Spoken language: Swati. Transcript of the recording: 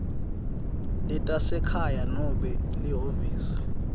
letasekhaya nobe lihhovisi